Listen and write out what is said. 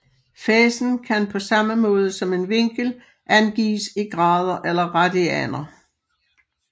Fasen kan på samme måde som en vinkel angives i grader eller radianer